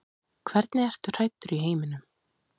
Hvernig ertu hræddur í heiminum?